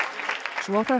svo hrökk